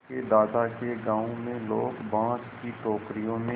उसके दादा के गाँव में लोग बाँस की टोकरियों में